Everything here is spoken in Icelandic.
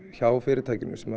hjá fyrirtækinu sem